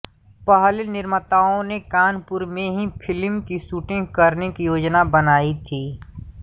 पहले निर्माताअों ने कानपुर में ही फिल्म की शूटिंग करने की योजना बनायी थी